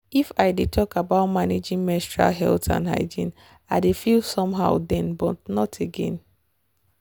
if i dey talk about managing menstrual health and hygiene i dey feel somehow then but not again.